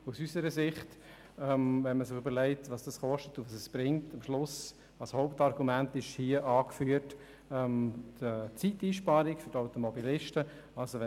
Dies gilt besonders, wenn man bedenkt, dass das Hauptargument im Postulat die Zeitersparnis für Automobilisten ist.